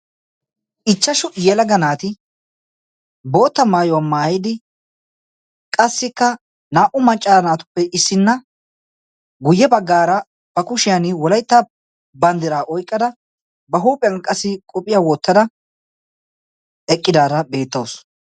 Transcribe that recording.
ichchashu yelagga naati bootta maayuwaa maayidi qassikka naa''u maccara naatuppe issinna guyye baggaara ba kushiyan wolaytta banddiraa oiqqada ba huuphiyan qassi qophiya wottada eqqidaara beettausu